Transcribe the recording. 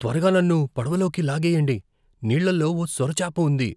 త్వరగా నన్ను పడవలోకి లాగెయ్యండి, నీళ్ళలో ఓ సొరచేప ఉంది.